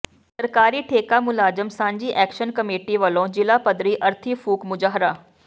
ਸਰਕਾਰੀ ਠੇਕਾ ਮੁਲਾਜ਼ਮ ਸਾਂਝੀ ਐਕਸ਼ਨ ਕਮੇਟੀ ਵੱਲੋਂ ਜ਼ਿਲ੍ਹਾ ਪੱਧਰੀ ਅਰਥੀ ਫੂਕ ਮੁਜ਼ਾਹਰਾ